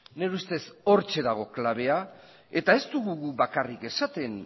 nire ustez hortxe dago klabea eta ez dugu guk bakarrik esaten